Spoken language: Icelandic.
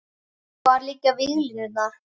Hvar liggja víglínurnar?